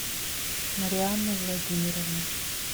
марианны владимировны